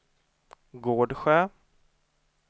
Gårdsjö